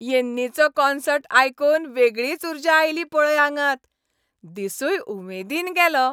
यॅन्नीचो concert आयकून वेगळीच उर्जा आयली पळय आंगांत, दिसूय उमेदीन गेलो.